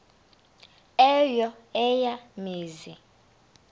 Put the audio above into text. eyo eya mizi